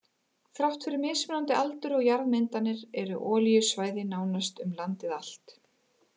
Þrátt fyrir mismunandi aldur og jarðmyndanir eru olíusvæði nánast um landið allt.